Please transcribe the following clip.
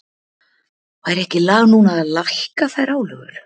Væri ekki lag núna að lækka þær álögur?